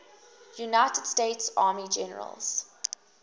united states army generals